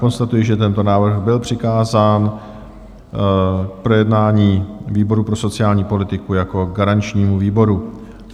Konstatuji, že tento návrh byl přikázán k projednání výboru pro sociální politiku jako garančnímu výboru.